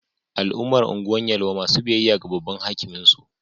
Al'ummar Gwan Yelwa masu biyayya ga Babban Hakimin su